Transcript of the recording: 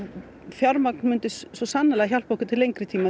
fjármagn myndi svo sannarlega hjálpa okkur til lengri tíma